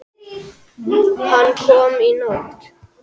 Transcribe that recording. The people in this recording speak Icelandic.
Hann kom í nótt.